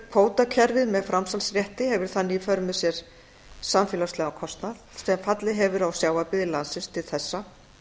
kvótakerfið með framsalsrétti hefur þannig í för með sér samfélagslegan kostnað sem fallið hefur á sjávarbyggðir landsins til þessa